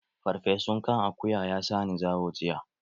Ferfesu kan akuya ya sa ni zawo jiya